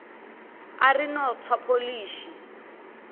a ri no tswa pholishi